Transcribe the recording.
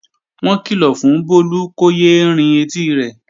Wọ́n kìlọ̀ fún Bólú kó yé é rin etí rẹ̀